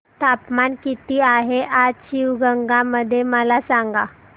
तापमान किती आहे आज शिवगंगा मध्ये मला सांगा